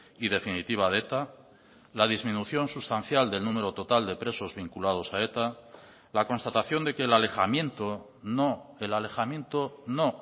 y definitiva de eta la disminución sustancial del número total de presos vinculados a eta la constatación de que el alejamiento no el alejamiento no